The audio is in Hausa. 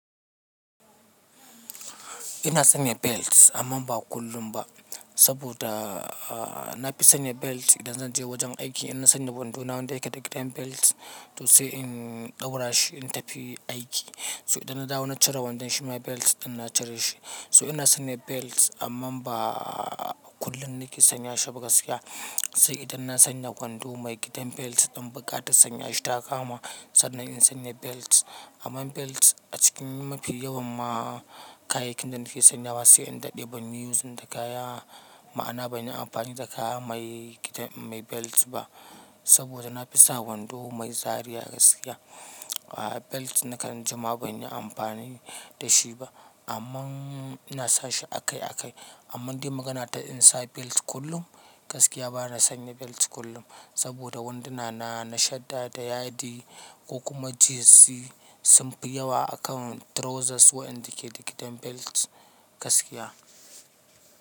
Ina sanya belt amma ba kullum ba. Saboda, aa, na fi sanya belt idan zan je wajen aiki. Ina sanya wando na wanda yake da gidan belt to say in ɗaura shi in tafi aiki. So idan na dawo na cire wandon shima belt ina cire shi. So ina sanya belt amma ba kullum nake sanya shi ba gaskiya. Sai idan na sanya wando mai gidan belt ɗin bukata sanya shi ta kama sannan in sanya belt. Amman belt a cikin mafi yawan ma kayakin da nake sanyawa sai in daɗe ban yi yin da kaya, ma'ana bani amfani da kaya mai gidan, mai belt ba. Saboda na fi sa wando mai zariya gaskiya. Aa belt na karin jima bani amfani da shi ba amma na sa shi akai akai. Amma in dai magana ta in sa belt kullum, gaskiya bana sanya belt kullum. Saboda wanduna na, na shadda da yadi ko kuma jeans simpi yawa a kan trousers waɗanda ke da gidan belt gaskiya.